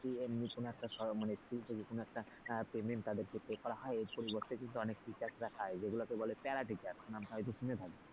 এমনি কোন একটা মানে school থেকে কোন একটা payment তাদের এ করা হয় এর পরিবর্তে কিন্তু teachers রা পায় যেগুলোকে বলে প্যারা টিচার নামটা হয়তো শুনে থাকবি,